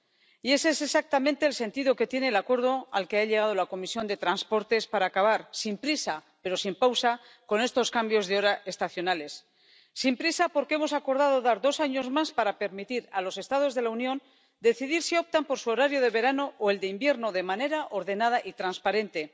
Y ese es exactamente el sentido que tiene el acuerdo al que ha llegado la Comisión de Transportes para acabar, sin prisa pero sin pausa, con estos cambios de hora estacionales. Sin prisa, porque hemos acordado dar dos años más para permitir a los Estados de la Unión decidir si optan por su horario de verano o por el de invierno, de manera ordenada y transparente